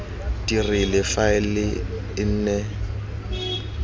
dirile gore faele e nne